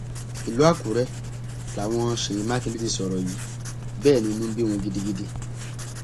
ìlú àkùrẹ làwọn ṣèyí mákindè ti sọrọ yìí bẹẹ ni inú ń bí wọn gidigidi